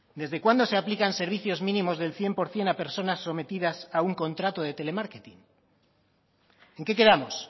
desde cuándo se aplican servicios mínimos del cien por ciento a personas sometidas a un contrato de telemarketing en qué quedamos